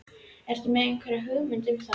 Ertu með einhverjar hugmyndir um það?